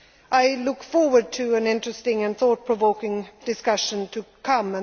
triangle. I look forward to an interesting and thought provoking discussion